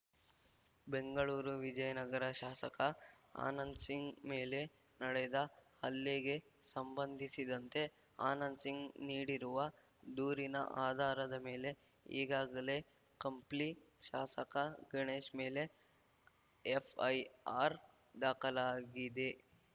ಬೆಂಗಳೂರು ವಿಜಯನಗರ ಶಾಸಕ ಆನಂದ್‌ಸಿಂಗ್‌ ಮೇಲೆ ನಡೆದ ಹಲ್ಲೆಗೆ ಸಂಬಂಧಿಸಿದಂತೆ ಆನಂದ್‌ಸಿಂಗ್‌ ನೀಡಿರುವ ದೂರಿನ ಆಧಾರದ ಮೇಲೆ ಈಗಾಗಲೇ ಕಂಪ್ಲಿ ಶಾಸಕ ಗಣೇಶ್‌ ಮೇಲೆ ಎಫ್‌ಐಆರ್‌ ದಾಖಲಾಗಿದೆ